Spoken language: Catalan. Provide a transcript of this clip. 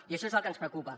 i això és el que ens preocupa